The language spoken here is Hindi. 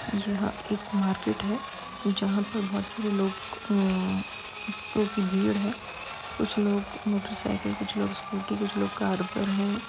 यह एक मार्केट है जहां पर बहुत सारे लोग अं की भीड़ है कुछ लोग मोटरसाइकिल कुछ लोग स्कूटी कुछ लोग कार पर हैं।